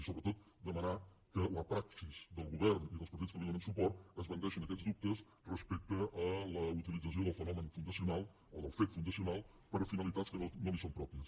i sobre·tot demanar que la praxi del govern i dels partits que li donen suport esbandeixi aquests dubtes respecte a la utilització del fenomen fundacional o del fet fundacio·nal per a finalitats que no li són pròpies